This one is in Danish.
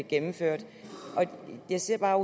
gennemført jeg ser bare